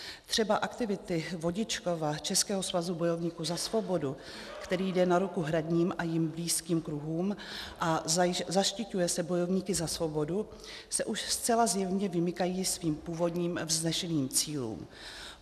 Třeba aktivity Vodičkova Českého svazu bojovníků za svobodu, který jde na ruku hradním a jim blízkým kruhům a zaštiťuje se bojovníky za svobodu, se už zcela zjevně vymykají svým původním vznešeným cílům.